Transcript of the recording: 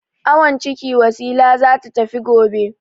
Awon ciki Wasila za ta tafi gobe.